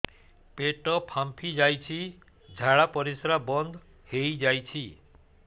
ପେଟ ଫାମ୍ପି ଯାଇଛି ଝାଡ଼ା ପରିସ୍ରା ବନ୍ଦ ହେଇଯାଇଛି